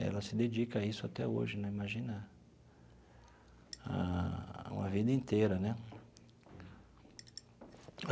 Ela se dedica a isso até hoje né, imagina a, uma vida inteira né.